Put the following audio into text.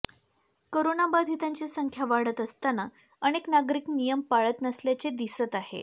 करोनाबाधितांची संख्या वाढत असताना अनेक नागरिक नियम पाळत नसल्याचे दिसत आहे